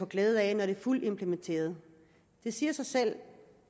glæde af når det er fuldt implementeret det siger sig selv